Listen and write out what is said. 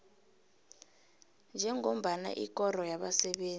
njengombana ikoro yabasebenzi